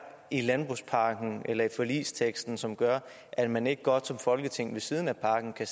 i landbrugspakken eller i forligsteksten som gør at man ikke godt som folketing ved siden af pakken kan